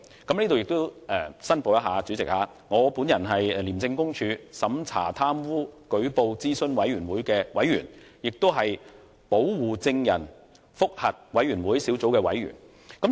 主席，我在此申報，我是廉署審查貪污舉報諮詢委員會的委員，亦是保護證人覆核委員會小組的委員。